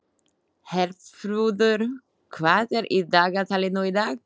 Herþrúður, hvað er í dagatalinu í dag?